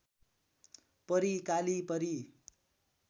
परी काली परी